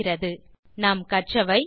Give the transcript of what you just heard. டுடோரியலில் கற்றவை 1